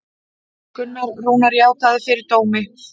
Gunnar Rúnar játaði fyrir dómi